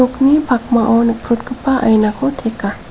nokni pakmao nikprotgipa ainako teka.